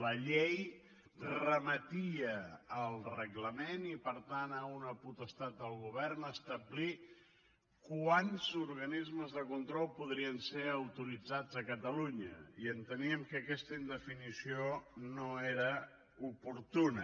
la llei remetia al reglament i per tant a una potestat del govern d’establir quants organistes de control podrien ser autoritzats a catalunya i enteníem que aquesta indefinició no era oportuna